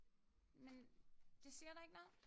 Men det siger dig ikke noget?